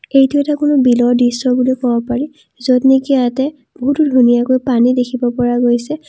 এইটো এটা কোনো বিলৰ দৃশ্য বুলি কব পাৰি য'ত নেকি ইয়াতে বহু ধুনীয়াকে পানী দেখিব পৰা গৈছে।